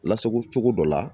Lasagocogo dɔ la